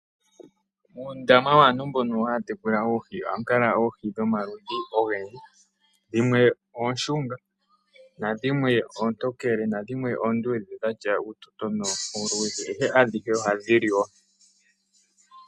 Uundama waantu mbono haya tekula oohi ohamu kala oohi dhomaludhi ogendji. Dhimwe oonshunga, nadhimwe oontokele dhatya uutoyona uuluudhe. Ashike adhihe ohadhi liwa.